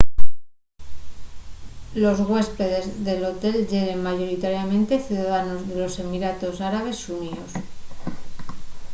los güéspedes del hotel yeren mayoritariamente ciudadanos de los emiratos árabes xuníos